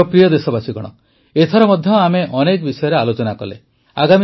ମୋର ପ୍ରିୟ ଦେଶବାସୀଗଣ ଏଥର ମଧ୍ୟ ଆମେ ଅନେକ ବିଷୟରେ ଆଲୋଚନା କଲେ